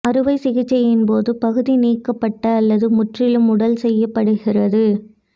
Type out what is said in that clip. அறுவை சிகிச்சையின் போது பகுதி நீக்கப்பட்ட அல்லது முற்றிலும் உடல் செய்யப்படுகிறது